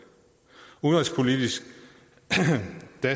udenrigspolitisk